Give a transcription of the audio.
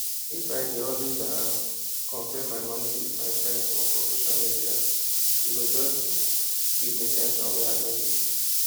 if i dey always um compare my money with my friends own for social media e go just give me ten sion wey no i need